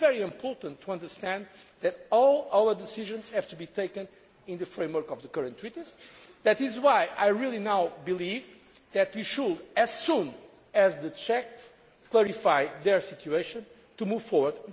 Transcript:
It is very important to understand that all our decisions have to be taken in the framework of the current treaties. That is why I now believe that, as soon as the Czechs verify their situation, we should move forward.